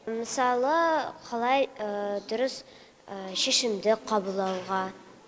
мысалы қалай дұрыс шешімді қабылдауға